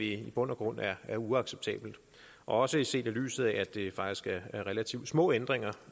i bund og grund er er uacceptabelt også set i lyset af at det faktisk er relativt små ændringer